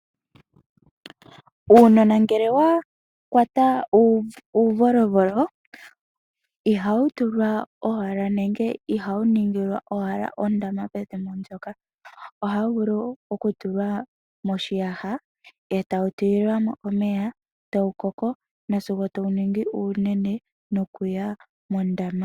Uunona ngele wa kwata uuvolovolo ihawu tulwa owala nenge ihawu ningilwa owala ondama pethimbo ndyoka, ohawu vulu okutulwa moshiyaha e tawu tulilwa mo omeya, tawu koko nasigo tawu ningi uunene nokuya mondama.